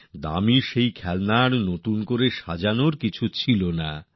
দামী খেলনার মধ্যে তো গড়ে তোলার মতো কিচ্ছু ছিল না